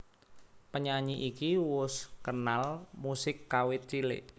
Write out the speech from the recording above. Penyanyi iki wus kenal musik kawit cilik